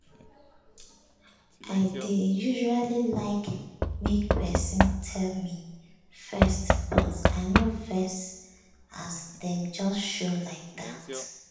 i dey usually like make person tell me first but i no vex as dem just show like dat.